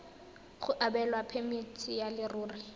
go abelwa phemiti ya leruri